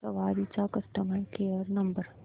सवारी चा customer care number